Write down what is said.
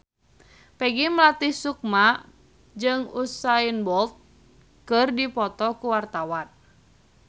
Peggy Melati Sukma jeung Usain Bolt keur dipoto ku wartawan